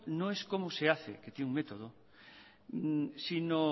no es cómo se hace que tiene un método sino